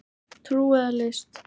Trú eða list